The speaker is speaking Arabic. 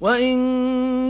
وَإِن